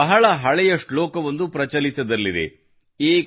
ನಮ್ಮಲ್ಲಿ ಬಹಳ ಹಳೆಯ ಶ್ಲೋಕವೊಂದು ಪ್ರಚಲಿತದಲ್ಲಿದೆ